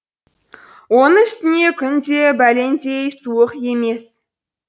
оның үстіне күн де бәлендей суық емес